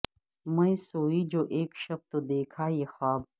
میں سوئی جو اک شب تو دیکھا یہ خواب